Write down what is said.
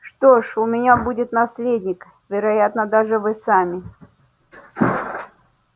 что ж у меня будет наследник вероятно даже вы сами